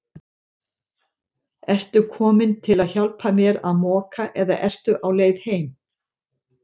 Ertu kominn til að hjálpa mér að moka eða ertu á leið heim?